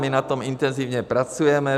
My na tom intenzivně pracujeme.